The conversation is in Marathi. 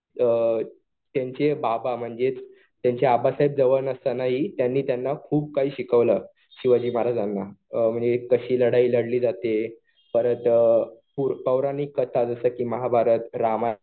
त्यांचे बाबा म्हणजेच त्यांचे आबासाहेब जवळ नसतानाही त्यांनी त्यांना खूप काही शिकवलं. शिवाजीमहाराजांना. म्हणजे कशी लढाई लढली जाते. परत पौराणिक कथा जसं कि महाभारत, रामायण